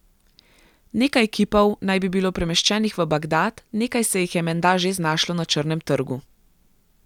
Nekaj kipov naj bi bilo premeščenih v Bagdad, nekaj se jih je menda že znašlo na črnem trgu.